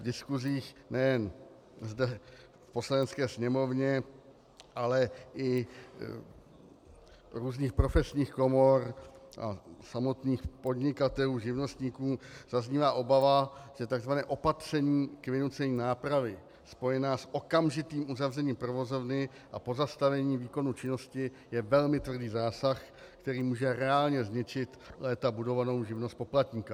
V diskusích nejen zde v Poslanecké sněmovně, ale i různých profesních komor a samotných podnikatelů, živnostníků zaznívá obava, že tzv. opatření k vynucení nápravy spojené s okamžitým uzavřením provozovny a pozastavením výkonu činnosti je velmi tvrdý zásah, který může reálně zničit léta budovanou živnost poplatníka.